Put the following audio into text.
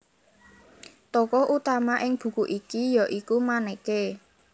Tokoh utama ing buku iki ya iku Maneke